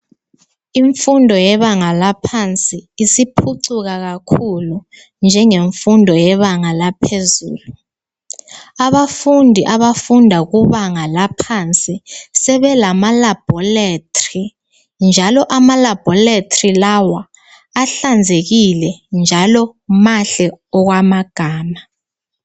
Imfundo yebanga laphansi isiphucuka kakhulu njengemfundo yebanga laphezulu. Abafundi abafunda kubanga laphansi sebelama labhoretri. Njalo ama labhoretri lawa ahlanzekile njalo mahle okwamagama.